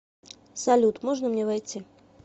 салют можно мне войти